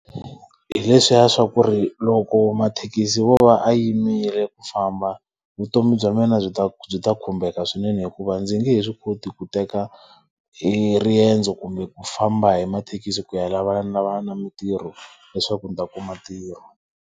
Hileswiya swa ku ri loko mathekisi yo va ya yimile ku famba, vutomi bya mina byi ta byi ta khumbeka swinene hikuva ndzi nge he swi koti ku teka eriendzo kumbe ku famba hi mathekisi ku ya lavanalavana na mitirho leswaku ndzi ta kuma ntirho.